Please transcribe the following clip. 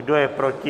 Kdo je proti?